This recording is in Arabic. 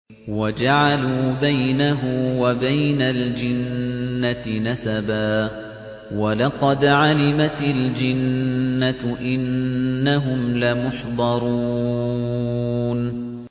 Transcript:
وَجَعَلُوا بَيْنَهُ وَبَيْنَ الْجِنَّةِ نَسَبًا ۚ وَلَقَدْ عَلِمَتِ الْجِنَّةُ إِنَّهُمْ لَمُحْضَرُونَ